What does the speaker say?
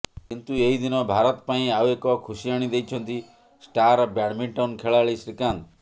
କିନ୍ତୁ ଏହି ଦିନ ଭାରତ ପାଇଁ ଆଉ ଏକ ଖୁସି ଆଣିଦେଇଛନ୍ତି ଷ୍ଟାର ବ୍ୟାଡମିଣ୍ଟନ ଖେଳାଳି ଶ୍ରୀକାନ୍ତ